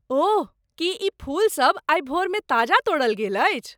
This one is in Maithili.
ओह! की ई फूल सब आइ भोरमे ताजा तोड़ल गेल अछि?